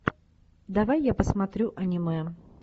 давай я посмотрю аниме